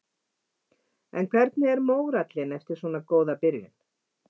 En hvernig er mórallinn eftir svona góða byrjun?